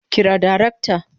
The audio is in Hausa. Kira darakta